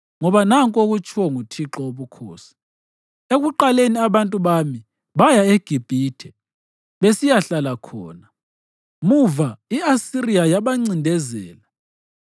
Ngoba nanku okutshiwo nguThixo Wobukhosi: “Ekuqaleni abantu bami baya eGibhithe besiyahlala khona; muva i-Asiriya yabancindezela.